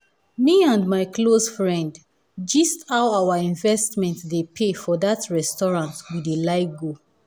me and my close friend gist how our investments dey pay for that restaurant we dey like go